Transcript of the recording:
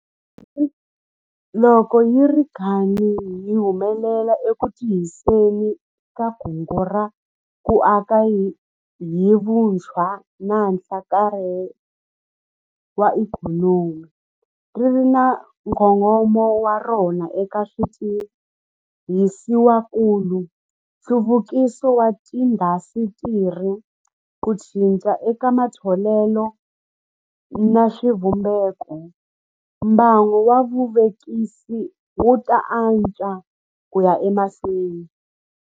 Loko hi ri karhi hi humelela eku tirhiseni ka Kungu ra ku Aka hi Vutshwa na Nhlakarhelo wa Ikhonomi - ri ri na nkongomo wa rona eka switirhisiwakulu, nhluvukiso wa tiindasitiri, ku cinca eka matholelo na swivumbeko - mbangu wa vuvekisi wu ta antswa ku ya emahlweni.